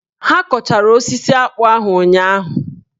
Ha kọchara osisi akpụ ahụ ụnyaahụ?